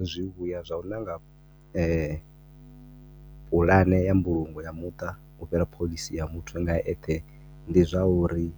Zwivhuya zwa u nanga pulane ya mbulungo ya muṱa ufhira phoḽisi ya muthu nga eṱhe ndi zwauri